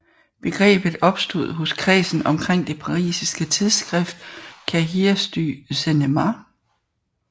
Begrebet opstod hos kredsen omkring det parisiske tidsskrift Cahiers du Cinema